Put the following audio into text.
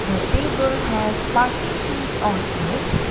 the table has partitions on it.